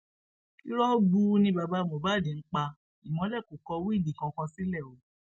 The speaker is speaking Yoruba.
irọ gbuu ni baba mohbad ń pa ìmọlẹ kó kọ wíìlì kankan sílẹ o